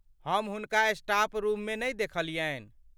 हम हुनका staff room मे नहि देखलियन्हि।